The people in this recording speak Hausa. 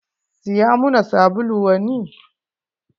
Siya muna sabulu wani.